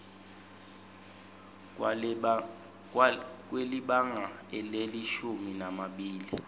kwelibanga lelishumi nambili